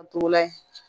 A t'o layi